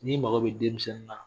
Ni mago bɛ denmisɛnni na